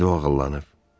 İndi o ağıllanıb.